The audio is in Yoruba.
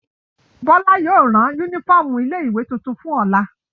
Bọ́lá yóò rán únífọ́ọ́mù ilé-ìwé tuntun fún Ọlá.